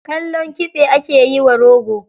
Kallon kitse, ake yiwa rogo.